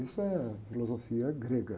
Isso é a filosofia grega.